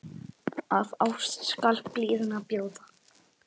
Af ást skal blíðuna bjóða.